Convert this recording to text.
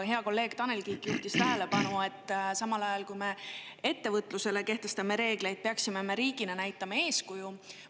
Hea kolleeg Tanel Kiik juhtis tähelepanu, et samal ajal, kui me ettevõtlusele reegleid kehtestame, peaksime riigina näitama eeskuju.